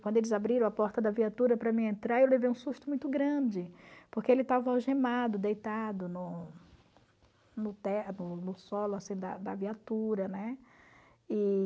Quando eles abriram a porta da viatura para mim entrar, eu levei um susto muito grande, porque ele estava algemado, deitado no no no solo assim da da viatura, né? E...